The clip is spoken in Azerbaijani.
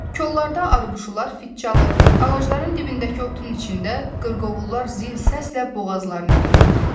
Kollarda arıquşular fit çalır, ağacların dibindəki otun içində qırqovullar zil səslə boğazlarını yırtırdılar.